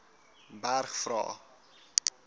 berg vra